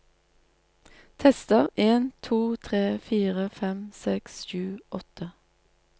Tester en to tre fire fem seks sju åtte